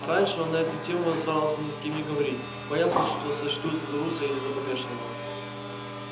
раньше он на эту тему старался ни с кем не говорить боялся что сочтут за труса или за помешанного